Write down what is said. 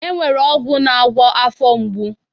E nwekwere ọgwụ na-agwọ afọ mgbu